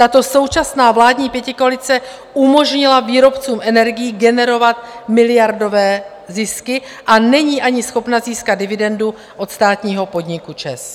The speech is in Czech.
Tato současná vládní pětikoalice umožnila výrobcům energií generovat miliardové zisky a není ani schopna získat dividendu od státního podniku ČEZ.